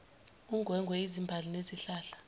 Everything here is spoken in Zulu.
ungwengwe izimbali nezihlahla